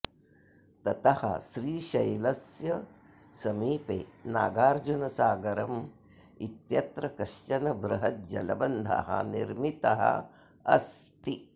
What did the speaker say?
ततः श्रीशैलस्य समीपे नागार्जुनसागरम् इत्यत्र कश्चन बृहत् जलबन्धः निर्मितः अस्ति